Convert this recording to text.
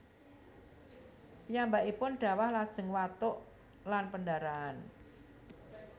Piyambakipun dhawah lajeng watuk lan pendarahan